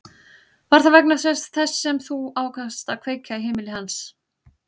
Var það þess vegna sem þú ákvaðst að kveikja í heimili hans?